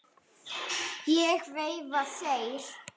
Ég veifa þér.